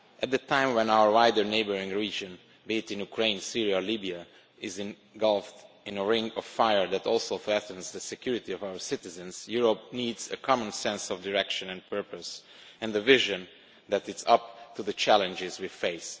At a time when our wider neighbouring region be it in Ukraine, Syria, or Libya is engulfed in a ring of fire that also threatens the security of our citizens, Europe needs a common sense of direction and purpose and a vision that is up to the challenges we face.